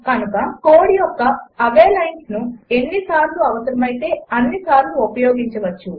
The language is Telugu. కనుక కోడ్ యొక్క అవే లైన్స్ను ఎన్ని సార్లు అవసరమయితే అన్ని సార్లు ఉపయోగించవచ్చు